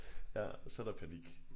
Ja så er der panik